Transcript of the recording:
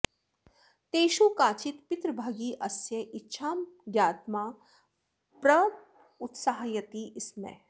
तेषु काचित् पितृभगी अस्य इच्छां ज्ञात्मा प्रोत्साहयति स्म